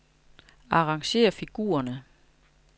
Arrangér figurerne.